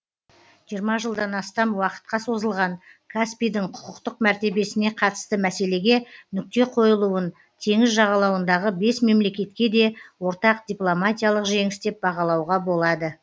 жиырма жылдан астам уақытқа созылған каспийдің құқықтық мәртебесіне қатысты мәселеге нүкте қойылуын теңіз жағалауындағы бес мемлекетке де ортақ дипломатиялық жеңіс деп бағалауға болады